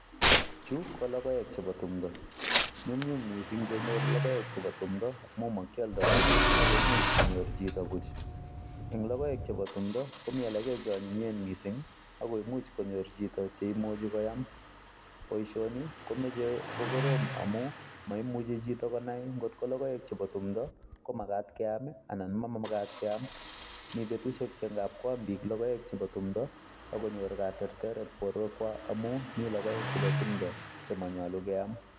Chu ko logoek chepo tundo. Nyumnyum mising kenyor logoek chepo tumdo amu makyoldoi ako imuch konyor chito buch. Eng logoek chepo tumdo komi alake cheonyinyen mising ako imuch konyor chito cheimuchi koyam. Poishoni komeche kokorom amu maimuchi chito konai nkot ko logoek chepo tumdo ko makat keam anan mamakat keam. Mi betushek che nkap koam biik logoek chepo tumdo akonyor katerteret borwekwa amu mi logoek chepo tumdo chemanyolu keam.